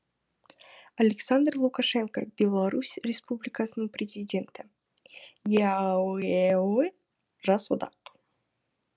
александр лукашенко беларусь республикасының президенті еаэо жас одақ